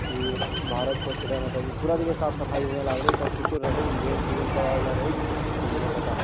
की भारत स्वच्छता मतलब पूरा देखी साफ़-सफाई इमें लगइल सब कुछो रहइ इवेंट - तिवेन्ट करवाइला रहइल इ ले पता --